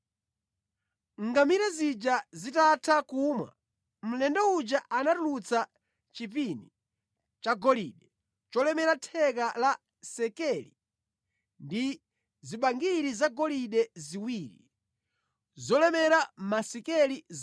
Ngamira zija zitatha kumwa, mlendo uja anatulutsa chipini chagolide cholemera theka la sekeli ndi zibangiri zagolide ziwiri zolemera masekeli 100.